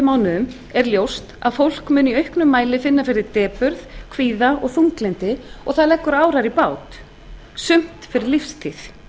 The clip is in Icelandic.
mánuðum er ljóst að fólk mun í auknum mæli finna fyrir depurð kvíða og þunglyndi og það leggur árar í bát sumt fyrir lífstíð